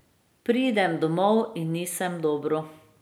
Pridem domov in nisem dobro.